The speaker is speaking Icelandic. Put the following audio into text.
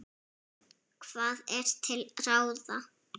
Hvað er til ráða